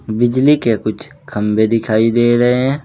बिजली के कुछ खंबे दिखाई दे रहे हैं।